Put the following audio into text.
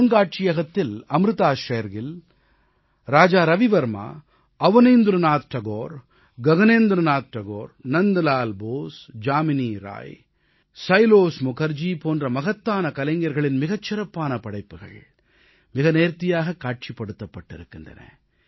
அருங்காட்சியகத்தில் அம்ருதா ஷேர்கில் ராஜா ரவிவர்மா அவநீந்திரநாத் தாகூர் ககநேந்திரநாத் தாகூர் நந்தலால் போஸ் ஜாமினி ராய் சைலோஸ் முகர்ஜி போன்ற மகத்தான கலைஞர்களின் மிகச் சிறப்பான படைப்புக்கள் மிக நேர்த்தியாகக் காட்சிப்படுத்தப் பட்டிருக்கின்றன